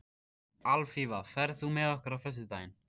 Alfífa, ferð þú með okkur á föstudaginn?